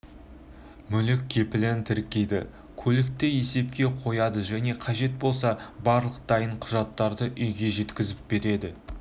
мүлік кепілін тіркейді көлікті есепке қояды және қажет болса барлық дайын құжаттарды үйге жеткізіп береді